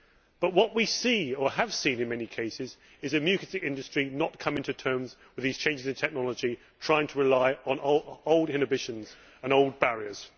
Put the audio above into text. But what we see, or have seen in many cases, is the music industry not coming to terms with these changes in technology, trying to rely on old inhibitions and old barriers.